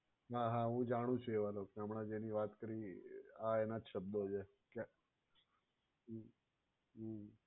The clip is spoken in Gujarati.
હા હા હું જાણું છું એવા ને હમણાં એની વાત કરી આ એના જ શબ્દો છે. હમ્મ હમ્મ.